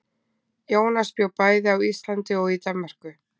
Jónas bjó bæði á Íslandi og í Danmörku.